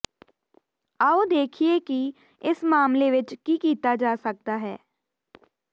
ਆਓ ਦੇਖੀਏ ਕਿ ਇਸ ਮਾਮਲੇ ਵਿੱਚ ਕੀ ਕੀਤਾ ਜਾ ਸਕਦਾ ਹੈ